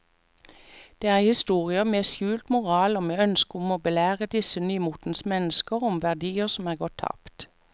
Det er historier med skjult moral og med ønske om å belære disse nymotens mennesker om verdier som er gått tapt.